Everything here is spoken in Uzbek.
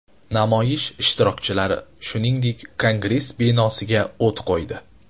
Namoyish ishtirokchilari, shuningdek, kongress binosiga o‘t qo‘ydi.